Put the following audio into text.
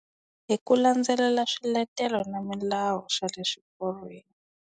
Hi ku landzelela swiletelo na milawu swa le swiporweni.